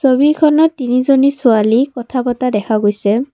ছবিখনত তিনিজনী ছোৱালী কথা পাতা দেখা গৈছে।